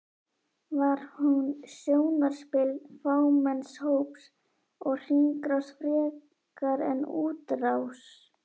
Var hún sjónarspil fámenns hóps og hringrás frekar en útrás?